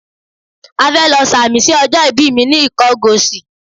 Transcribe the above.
À fẹ́ lọ sàmì sí ọjọ́ ibi mi ní Ìkọgòsì.